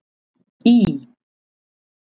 Í